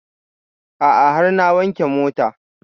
A'a har na wanke mota